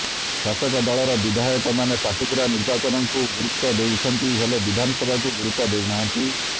ଶାସକ ଦଳର ବିଧାୟକ ମାନେ ପାଟକୁରା ନିର୍ବାଚନକୁ ଗୁରୁତ୍ବ ଦେଉଛନ୍ତି ହେଲେ ବିଧାନସଭାକୁ ଗୁରୁତ୍ବ ଦେଉ ନାହାନ୍ତି